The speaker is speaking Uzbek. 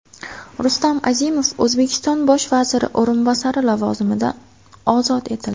Rustam Azimov O‘zbekiston bosh vaziri o‘rinbosari lavozimidan ozod etildi .